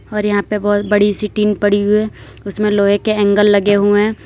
और यहां पर बहुत बड़ी सी टीन पड़ी हुई है उसमें लोहे के एंगल लगे हुए हैं।